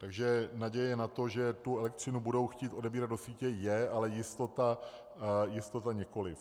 Takže naděje na to, že tu elektřinu budou chtít odebírat do sítě, je, ale jistota nikoliv.